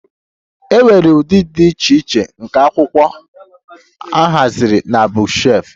E nwere ụdị dị iche iche nke akwụkwọ a haziri na bookshelf